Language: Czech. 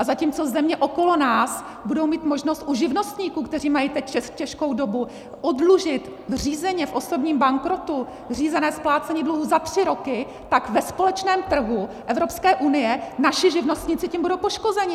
A zatímco země okolo nás budou mít možnost u živnostníků, kteří mají teď těžkou dobu, oddlužit řízeně v osobním bankrotu řízené splácení dluhů za tři roky, tak ve společném trhu EU naši živnostníci tím budou poškozeni.